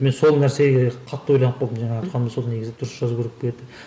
мен сол нәрсеге қатты ойланып қалдым жаңағы айтқаным сол негізі дұрыс жазу керек пе еді